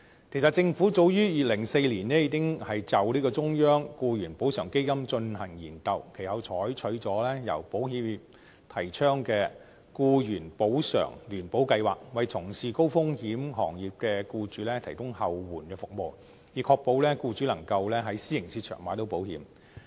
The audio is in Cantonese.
其實政府早於2004年已經就"中央僱員補償基金"進行研究，其後採取了由保險業界提倡的僱員補償聯保計劃，為從事高風險行業的僱主提供後援服務，以確保僱主能夠在私營市場購買到保險。